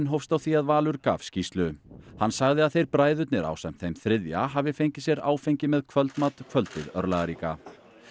hófst á því að Valur gaf skýrslu hann sagði að þeir bræðurnir ásamt þeim þriðja hafi fengið sér áfengi með kvöldmat kvöldið örlagaríka